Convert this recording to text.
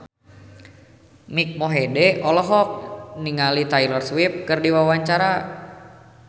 Mike Mohede olohok ningali Taylor Swift keur diwawancara